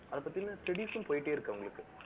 அதைப் பத்தின, studies ம் போயிட்டே இருக்கு, அவங்களுக்கு